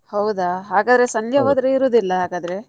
ಹೌದಾ ಹಾಗಾದ್ರೆ ಸಂಜೆ ಹೋದ್ರೆ ಇರುವುದಿಲ್ಲ ಹಾಗಾದ್ರೆ.